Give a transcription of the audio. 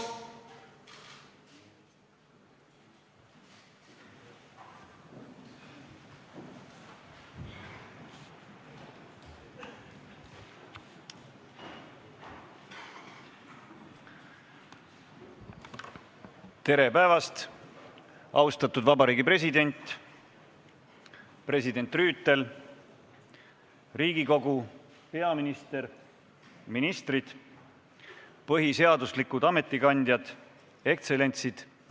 Tere päevast, austatud Vabariigi President, president Rüütel, Riigikogu, peaminister, ministrid, põhiseaduslikud ametikandjad, ekstsellentsid!